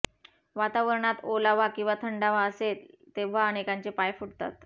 वातावरणात ओलावा किंवा थंडावा असेल तेव्हा अनेकांचे पाय फुटतात